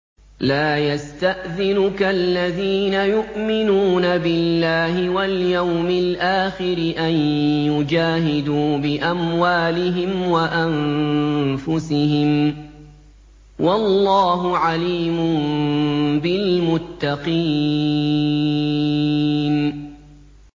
لَا يَسْتَأْذِنُكَ الَّذِينَ يُؤْمِنُونَ بِاللَّهِ وَالْيَوْمِ الْآخِرِ أَن يُجَاهِدُوا بِأَمْوَالِهِمْ وَأَنفُسِهِمْ ۗ وَاللَّهُ عَلِيمٌ بِالْمُتَّقِينَ